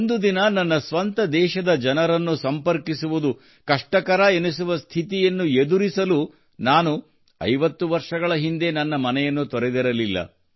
ಒಂದು ದಿನ ನನ್ನ ಸ್ವಂತ ದೇಶದ ಜನರನ್ನು ಸಂಪರ್ಕಿಸುವುದು ಕಷ್ಟಕರವೆನಿಸುವ ಸ್ಥಿತಿಯನ್ನು ಎದುರಿಸಲು ನಾನು ಐವತ್ತು ವರ್ಷಗಳ ಹಿಂದೆ ನನ್ನ ಮನೆಯನ್ನು ತೊರೆದಿರಲಿಲ್ಲ